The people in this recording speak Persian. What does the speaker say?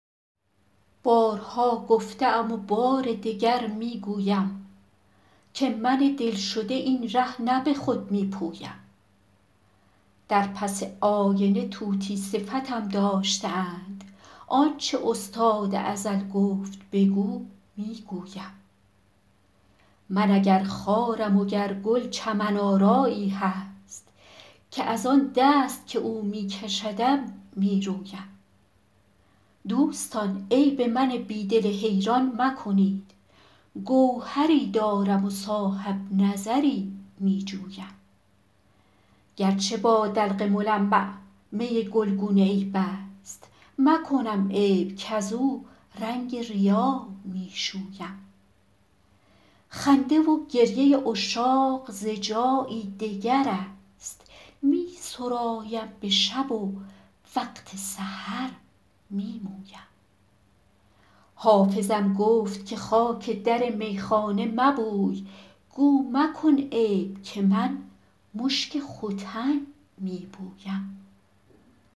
بارها گفته ام و بار دگر می گویم که من دل شده این ره نه به خود می پویم در پس آینه طوطی صفتم داشته اند آن چه استاد ازل گفت بگو می گویم من اگر خارم و گر گل چمن آرایی هست که از آن دست که او می کشدم می رویم دوستان عیب من بی دل حیران مکنید گوهری دارم و صاحب نظری می جویم گر چه با دلق ملمع می گلگون عیب است مکنم عیب کزو رنگ ریا می شویم خنده و گریه عشاق ز جایی دگر است می سرایم به شب و وقت سحر می مویم حافظم گفت که خاک در میخانه مبوی گو مکن عیب که من مشک ختن می بویم